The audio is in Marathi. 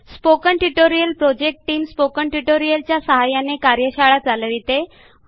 spoken tutorial project team spoken tutorial च्या सहाय्याने कार्यशाळा चालविते